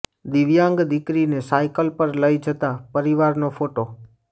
દિવ્યાંગ દીકરીને સાઈકલ પર લઈ જતા પરિવારનો ફોટો